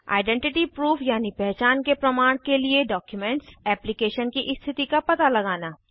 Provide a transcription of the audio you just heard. identity proof यानी पहचान के प्रमाण के लिए डॉक्युमेंट्स एप्लीकेशन की स्थिति का पता लगाना